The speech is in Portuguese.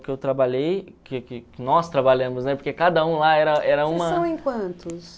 que eu trabalhei, que que que nós trabalhamos, né, porque cada um lá era era uma... Vocês são em quantos?